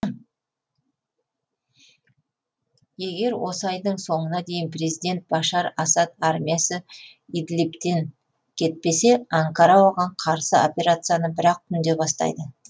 егер осы айдың соңына дейін президент башар асад армиясы идлибтен кетпесе анкара оған қарсы операцияны бір ақ түнде бастайды